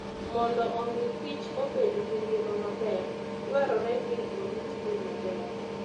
Mondo omi kich obed gi ngima maber, dwarore ni oritgi maber.